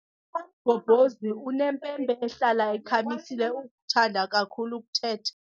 UMamgobhozi unempempe ehlala ikhamisile ukuthanda kakhulu ukuthetha.